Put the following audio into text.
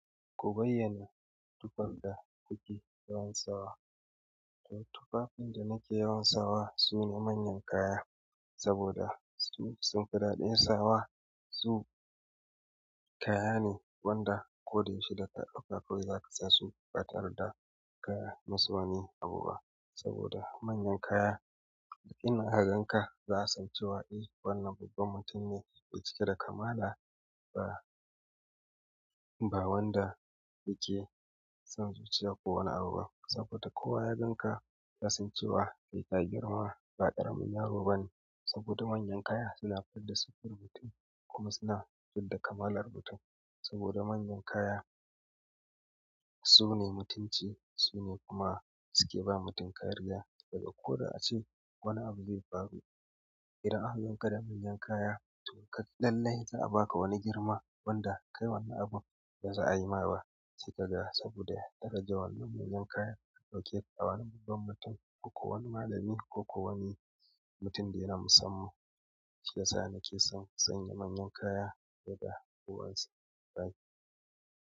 Ku bayyana tufar da kuke yawan sawa. Akwai tufa da nake yawan sawa sune manyan kaya saboda su sunfi daɗin sawa su kaya ne wanda ko da yaushe da ka ɗauka kawai za ka sa su ba tare da ka yi musu wani abu ba. Saboda manyan kaya in aka ganka za a san cewa eh wannan babban mutum ne, me cike da kamala ba, ba wanda yake son zuciya kowane abu ba. Saboda kowa ya ganka ya san cewa kai ka girma, ba ƙaramin yaro bane. Saboda manyan kaya suna fidda siffar mutum kuma suna fidda kamalar mutum. Saboda manyan kaya su ne mutunci, su ne kuma su ke ba mutum kariya. Daga koda ace wani abu zai faru idan aka ganka da manyan kaya lallai za, a baka wani girma wanda kai wani abun baza a yima ba saboda darajar wannan manyan kaya ɗauke da wani babban mutum ko ko wani malami ko ko wani mutum da yana musamman. Shiyasa nake son sanya manyan kaya yadda kowa ne zai yi.